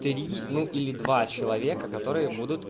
три ну или два человека которые будут